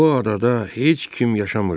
Bu adada heç kim yaşamırdı.